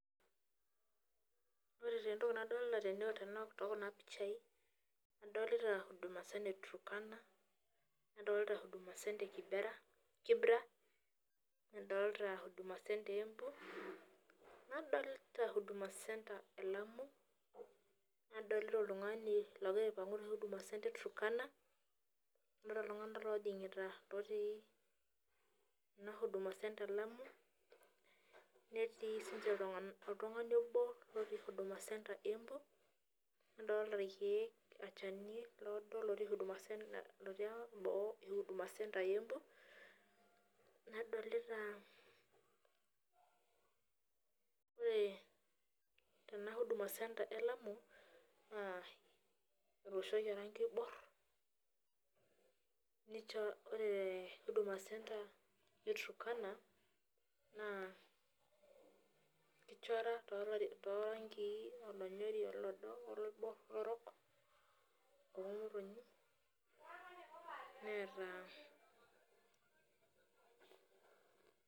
Ore taa entoki nadolita tookuna pichai adolita huduma center eturkana, nadolita huduma center ekibera , nadolta huduma center eembu, nadloita huduma centre elamu , nadolita oltungani ogira aipangu tehuduma centre eturkana, adolita iltunganak otii enahuduma centre elamu, netii oltungani obo otii huduma centre eembu , nadolita olchani oodo otii huduma centre eembu , ore tenahuduma centre elamu naa etooshoki oranki oibor , ore tehuduma centre eturkana naa ichora toranki onyori oloibor ,olorok.